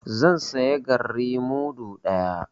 Zan saya garri mudu ɗaya.